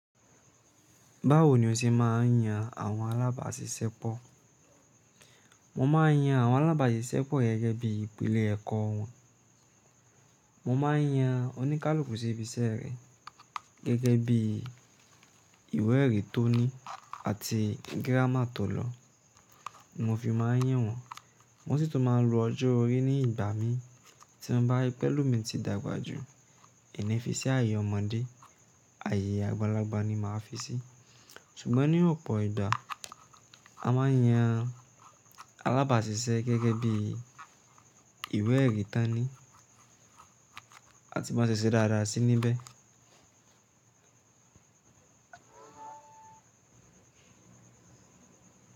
Báwo ni o se máà ń yan àwọn alábàáṣiṣẹ́pọ̀? Mo máa ń yan àwọn alábàáṣiṣẹ́pọ̀ gẹ́gẹ́ bí ìpele ẹ̀kọ́ wọn. Mo máà ń yan oníkálukú síbi iṣẹ́ rẹ̀ gẹ́gẹ́ bí ìwé èrí tó ní àti giráma tó lọ, mo fi máa ń yín wọn. Mo sì tún máa ń lo ọjọ́ orí ní ìgbà mí tí n bá ri pe elomi ti dàgbà jù, mi ni fi ṣi ààyè ọmọdé, ààyè àgbàlagbà ni màá fi í ṣe. Ṣùgbọ́n ní òpò ìgbà, a máa ń yan alábàáṣiṣẹ́ gẹ́gẹ́ bí ìwé èrí tán ni àti ban ṣe ṣe dáradára sí níbẹ̀.